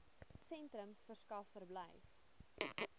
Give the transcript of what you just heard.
sentrums verskaf verblyf